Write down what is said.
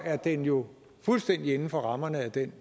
er den jo fuldstændig inden for rammerne af det